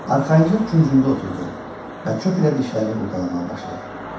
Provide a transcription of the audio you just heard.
Arxayınca küncündə oturdu və çöp ilə dişlərini qurdalamağa başladı.